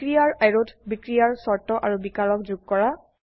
বিক্ৰিয়াৰ অ্যাৰোত বিক্ৰিয়াৰ শৰ্ত আৰু বিকাৰক যোগ কৰা